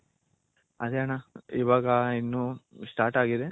ಅದೇ ಅಣ್ಣ ಇವಾಗ ಇನ್ನು start ಆಗಿದೆ.